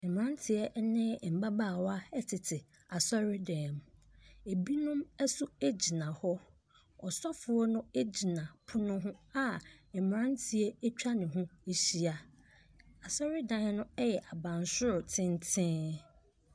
Mmeranteɛ ne mmabaawa tete asɔredan mu. Binom nso gyina hɔ. Ɔsɔfoɔ no gyina pono ho a mmeranteɛ atwa ne ho ahyia. Asɔredan no yɛ abansoro tenten.